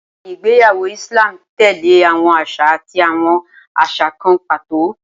Awọn igbeyawo Islam tẹle awọn aṣa ati awọn aṣa kan pato.